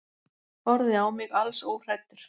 Horfði á mig alls óhræddur.